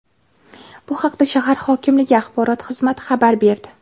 Bu haqda shahar hokimligi axborot xizmati xabar berdi .